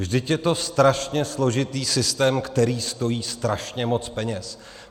Vždyť je to strašně složitý systém, který stojí strašně moc peněz.